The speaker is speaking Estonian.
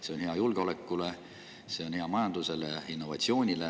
See on hea julgeolekule, see on hea majandusele ja innovatsioonile.